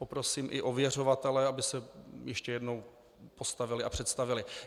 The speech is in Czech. Poprosím i ověřovatele, aby se ještě jednou postavili a představili.